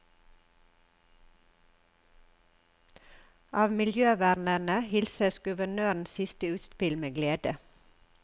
Av miljøvernerne hilses guvernørens siste utspill med glede.